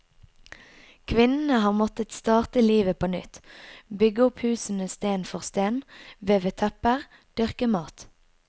Kvinnene har måttet starte livet på nytt, bygge opp husene sten for sten, veve tepper, dyrke mat.